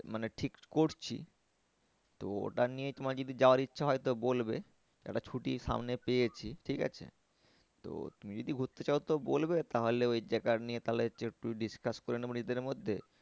মানে ঠিক করছি। তো ওটা নিয়ে তোমার যদি যাওয়ার ইচ্ছা হয় তো বলবে একটা ছুটি সামনে পেয়েছি ঠিক আছে। তো তুমি যদি ঘুরতে চাও তো বলবে তাহলে ওই জায়গা নিয়ে তাহলে হচ্ছে একটু discuss করে নেবো নিজেদের মধ্যে